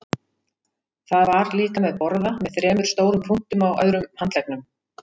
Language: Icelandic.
Það var líka með borða með þremur stórum punktum á öðrum handleggnum.